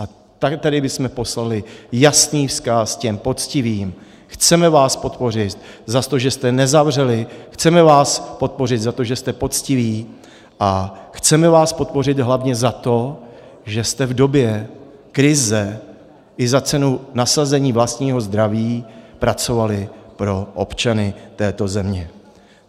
A tady bychom poslali jasný vzkaz těm poctivým: chceme vás podpořit za to, že jste nezavřeli, chceme vás podpořit za to, že jste poctiví, a chceme vás podpořit hlavně za to, že jste v době krize i za cenu nasazení vlastního zdraví pracovali pro občany této země.